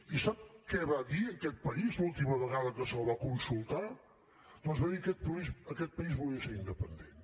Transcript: i sap què va dir aquest país l’última vegada que se’l va consultar doncs va dir aquest país que aquest país volia ser independent